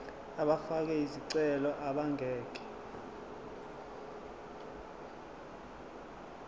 abafake izicelo abangeke